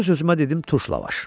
Öz-özümə dedim turş lavaş.